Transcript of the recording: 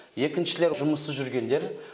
екіншілер жұмыссыз жүргендер